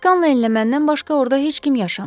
Skalenlə məndən başqa orda heç kim yaşamır.